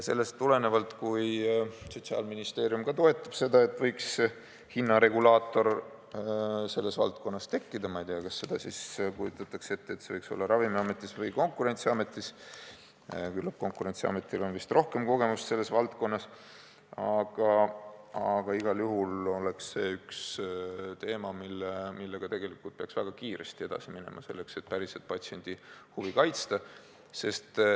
Sellest tulenevalt, kui Sotsiaalministeerium ka toetab seda, et võiks hinnaregulaator selles valdkonnas tekkida – ma ei tea, kas kujutatakse ette, et see võiks olla Ravimiametis või Konkurentsiametis, küllap Konkurentsiametil on vist rohkem kogemust selles valdkonnas –, siis igal juhul oleks see üks teemasid, millega peaks väga kiiresti edasi minema, selleks et päriselt patsiendi huve kaitsta.